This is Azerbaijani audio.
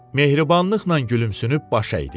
Mehribanlıqla gülümsünüb baş əydi.